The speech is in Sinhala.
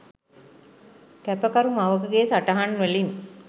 කැපකරු මවකගේ සටහන් වලින්..